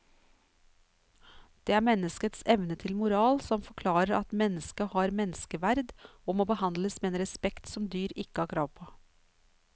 Det er menneskets evne til moral som forklarer at mennesket har menneskeverd og må behandles med en respekt som dyr ikke har krav på.